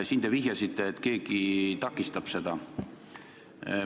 Siin te vihjasite, et keegi takistab seda.